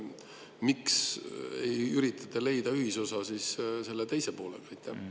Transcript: Miks ei üritata leida ühisosa selle teise poolega?